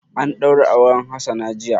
An ɗaura auren Hassana jiya.